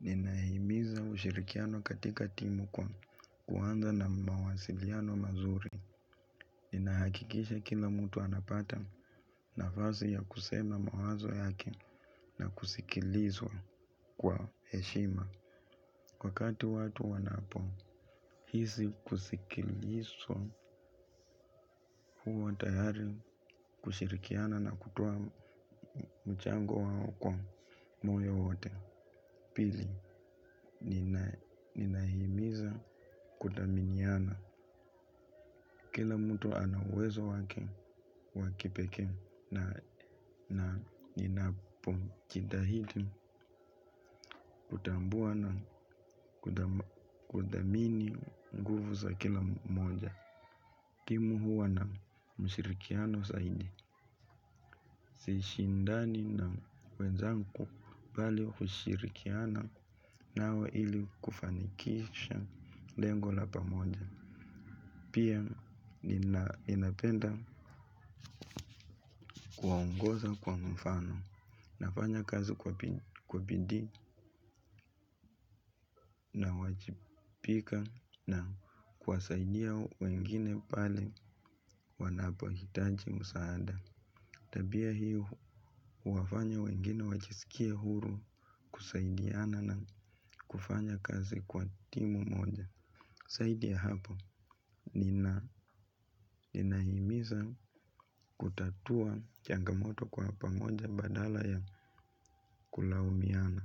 Ninahimiza ushirikiano katika timu kwa kuanza na mawasiliano mazuri. Ninahakikisha kila mtu anapata nafasi ya kusema mawazo yake na kusikilizwa kwa heshima. Wakati watu wanapohisi kusikilizwa huwa tayari kushirikiana na kutoa mchango wao kwa moyo wote. Pili, ninahimiza kuthaminiana. Kila mtu ana uwezo wake wa kipekee, na ninapojitahidi kutambua na kuthamini nguvu za kila mmoja. Timu huwa na mshirikiano zaidi. Sishindani na wenzangu, bali hushirikiana nao ili kufanikisha lengo la pamoja. Pia ninapenda kuongoza kwa mfano, nafanya kazi kwa bidii. Nawajibika na kuwasaidia wengine pale wanapohitaji msaada. Tabia hii huwafanya wengine wajisikie huru kusaidiana na kufanya kazi kwa pamoja zaidi ya hapo, nina, ninahimiza kutatua changamoto kwa pamoja badala ya kulaumiana,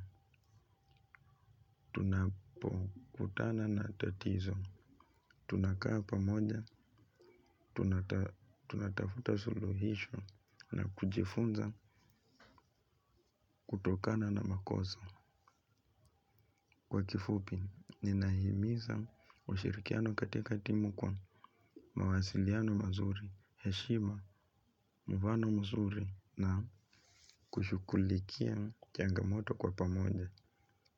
tunapokutana na tatizo, tunakaa pamoja, tunatafuta suluhisho na kujifunza kutokana na makosa kwa kifupi ninahimiza ushirikiano katika timu kwa mawasiliano mazuri heshima mfano mzuri na kushughulikia changamoto kwa pamoja.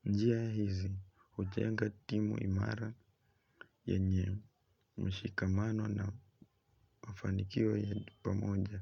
Njia hizi, hujenga timu imara yenye mshikamano na mafanikio ya pamoja.